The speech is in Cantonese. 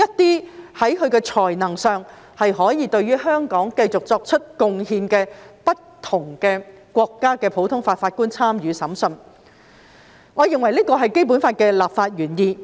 些在才能上可以對香港繼續作出貢獻的不同國家的普通法法官參與審訊，我認為這是《基本法》的立法原意。